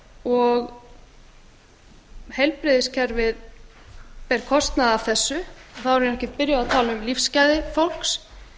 og heilbrigðiskerfið ber kostnað af þessu þá erum við ekki byrjuð að tala um lífsgæði fólks